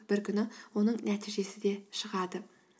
бір күні оның нәтижесі де шығады